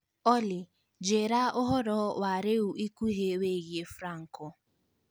Olly njīra ūhoro wa rīu ikuhī wīgiī franco